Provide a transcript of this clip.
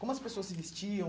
Como as pessoas se vestiam?